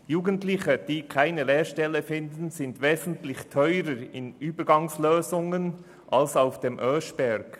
Jugendliche, die keine Lehrstelle finden, verursachen deutlich höhere Kosten, etwa durch Übergangslösungen als Lernende auf dem Oeschberg.